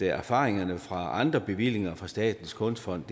erfaringerne fra andre bevillinger fra statens kunstfond